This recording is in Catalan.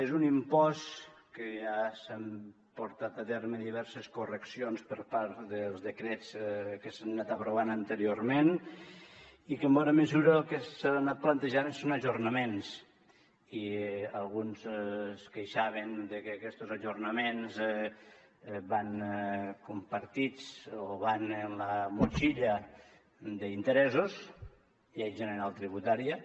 és un impost en què s’han portat a terme diverses correccions per part dels decrets que s’han anat aprovant anteriorment i que en bona mesura el que s’ha anat plantejant són ajornaments i alguns es queixaven de que aquests ajornaments van compartits o van amb la motxilla d’interessos llei general tributària